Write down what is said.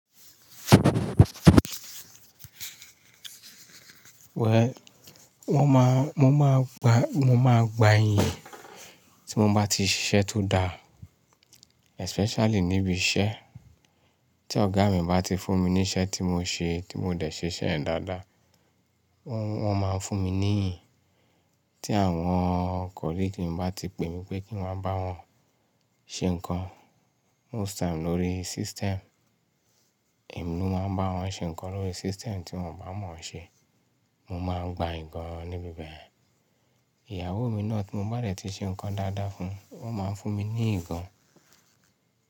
Well, wọ́n má, mo máa gba, mo máa gba iyìn tí mo bá ti ṣiṣẹ́ tó dáa, especially níbi iṣẹ́. Tí ọ̀gá mi bá ti fún mi ní iṣẹ́ tí mo ṣe, tí mo dẹ̀ ṣiṣẹ́ ẹ̀ dáadáa, wọ́n, wọ́n máa fún mi ní iyìn. Tí àwọn colleague mi bá ti pè mí pé kí n wá bá wọn ṣe nǹkan, most time lórí system, èmi ló máa ń bá wọn ṣe nǹkan lórí system tí wọ́n bá mọ̀ọ́ ṣe. Mo máa gba ikan ni bi bẹ̀. Ìyàwó mi náà tí mo bá de ti ṣe nǹkan dáadáa fún, ó máa ń fún mi ní nkàn.